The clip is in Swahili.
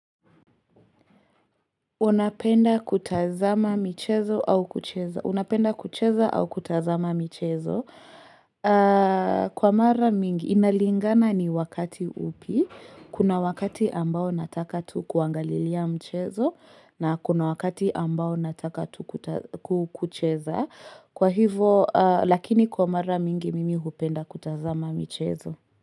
Unapenda kutazama michezo au kucheza. Unapenda kucheza au kutazama michezo. Kwa mara mingi, inalingana ni wakati upi. Kuna wakati ambao nataka tu kuangalilia mchezo na kuna wakati ambao nataka tu kucheza. Kwa hivo, lakini kwa mara mingi mimi hupenda kutazama mchezo.